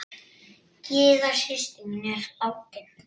Gyða systir mín er látin.